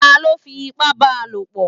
Ta ló fi ipá ba lò pọ̀?